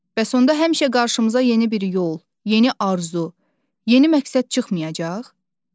Bəs onda həmişə qarşımıza yeni bir yol, yeni arzu, yeni məqsəd çıxmayacaq?